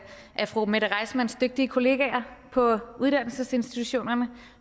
af fru mette reissmanns dygtige kolleger på uddannelsesinstitutionerne